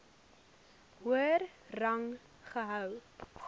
hoër rang gehou